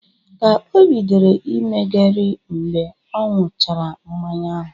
O bidoro imegeri mgbe ọ ṅuchara mmanya ahụ